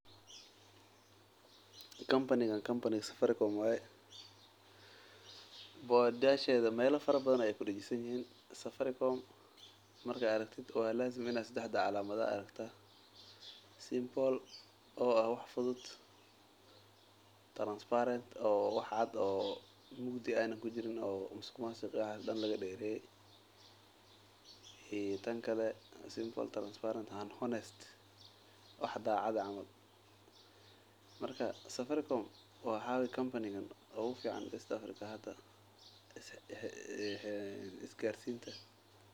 Cambanigan cambaniga Safaricom waye bord yasheda melafara badan ay kudasin yihin Safaricom marka aragtit walasim ina sadaxda calamad ad aragta simple oo ah wax fudud transparent oo wax cad oo mugdi ana kujirin masuq masuq wxa lagadereyeiyo tankale simple transparent and honest wax dacad ah Safaricom waxa waye combanigi ugu fican East African hada is garsinta.